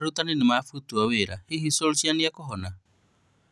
Arutani nĩmabutwo wĩra, hihi rĩ Solskjaer nĩekũhona?